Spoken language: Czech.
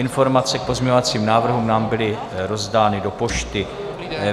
Informace k pozměňovacím návrhům nám byly rozdány do pošty.